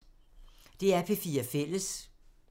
DR P4 Fælles